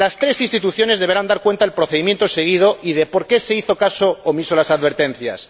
Las tres instituciones deberán dar cuenta del procedimiento seguido y de por qué se hizo caso omiso de las advertencias.